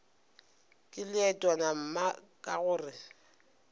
ke leetwana mma ka gore